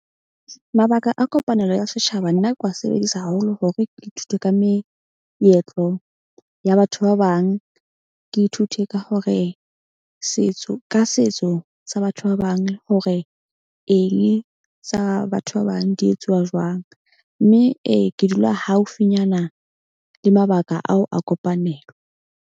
Mabaka a kopanelo ya setjhaba. Nna ke wa sebedisa haholo hore ke ithute ka meetlo ya batho ba bang. Ke ithute ka hore setso ka setso sa batho ba bang. Hore eng sa batho ba bang di etsuwa jwang. Mme ee ke dula haufinyana le mabaka ao a kopanelo.